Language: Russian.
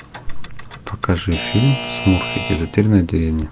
покажи фильм смурфики затерянная деревня